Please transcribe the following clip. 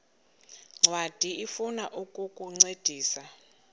ncwadi ifuna ukukuncedisa